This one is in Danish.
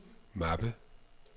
mappe